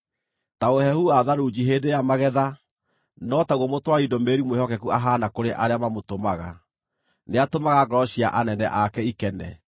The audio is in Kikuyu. Ta ũhehu wa tharunji hĩndĩ ya magetha, no taguo mũtwari ndũmĩrĩri mwĩhokeku ahaana kũrĩ arĩa mamũtũmaga; nĩatũmaga ngoro cia anene ake ikene.